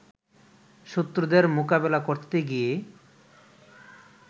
শত্রুদের মোকাবেলা করতে গিয়ে